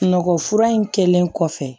Sunɔgɔ fura in kɛlen kɔfɛ